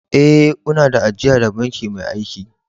Eh, una da ajia da banki mai aiki.